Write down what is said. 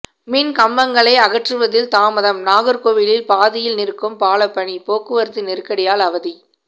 மின் கம்பங்களை அகற்றுவதில் தாமதம் நாகர்கோவிலில் பாதியில் நிற்கும் பாலப்பணி போக்குவரத்து நெருக்கடியால் அவதி